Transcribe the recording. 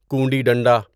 کونڈی ڈنڈا